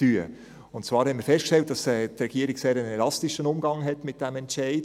Und zwar haben wir festgestellt, dass die Regierung einen sehr elastischen Umgang mit diesem Entscheid hat.